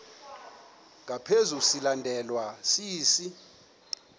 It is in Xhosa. ngaphezu silandelwa sisi